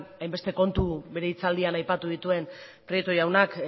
hainbeste kontu bere hitzaldian aipatu dituen prieto jaunak